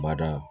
Bada